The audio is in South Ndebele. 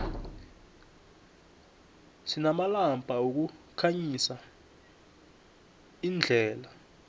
sinamalamba wokukhanyisa imdela